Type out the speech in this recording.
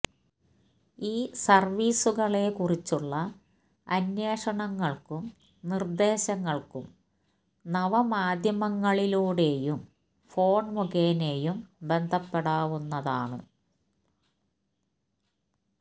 ഈ സര്വീസുകളെ കുറിച്ചുള്ള അന്വേഷണങ്ങള്ക്കും നിര്ദേശങ്ങള്ക്കും നവമാധ്യമങ്ങളിലൂടെയും ഫോണ് മുഖേനയും ബന്ധപ്പെടാവുന്നതാണ്